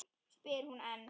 spyr hún enn.